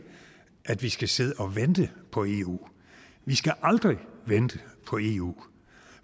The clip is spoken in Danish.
at vi skal sidde og vente på eu vi skal aldrig vente på eu